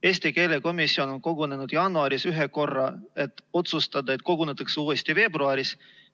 Eesti keele komisjon on kogunenud jaanuaris ühe korra, et otsustada, et kogunetakse uuesti veebruaris.